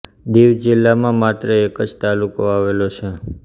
દીવ જિલ્લામાં માત્ર એક જ તાલુકો આવેલો છે